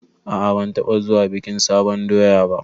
A'a ban taɓa zuwa bikin sabon doya ba